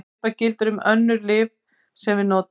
Svipað gildir um ýmis önnur lyf sem við notum.